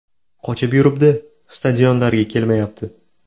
Qochib yuribdi, stadionlarga kelmayapti.